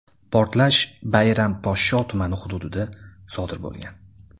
Portlash Bayramposhsho tumani hududida sodir bo‘lgan.